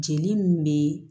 Jeli nun be